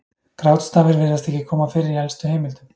Grátstafir virðist ekki koma fyrir í elstu heimildum.